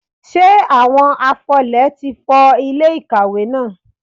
Ṣé àwọn afọlẹ̀ ti fọ ilẹ̀ ìkàwé náà?